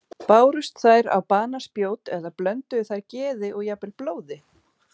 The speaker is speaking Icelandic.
Bárust þær á banaspjót eða blönduðu þær geði og jafnvel blóði?